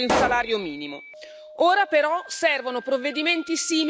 Ora, però, servono provvedimenti simili a livello europeo.